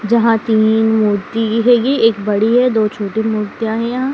जहां तीन मूर्ति है। ये एक बड़ी है दो छोटे मूर्तियां है यहाँ।